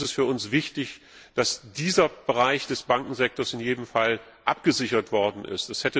Es ist für uns wichtig, dass dieser Bereich des Bankensektors in jedem Fall abgesichert worden ist.